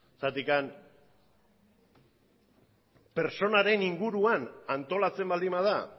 zergatik pertsonaren inguruan antolatzen baldin bada